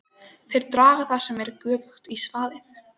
Þeir draga það sem er göfugt í svaðið.!